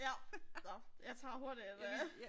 Ja nåh jeg tager hurtigt et øh